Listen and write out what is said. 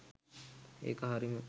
ඒක හරිම